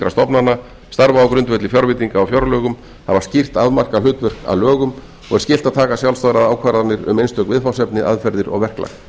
stofnana starfa á grundvelli fjárveitinga á fjárlögum hafa skýrt afmarkað hlutverk að lögum og er skylt að taka sjálfstæðar ákvarðanir um einstök viðfangsefni aðferðir og verklag